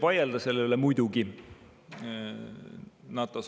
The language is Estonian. Selle üle võib muidugi vaielda.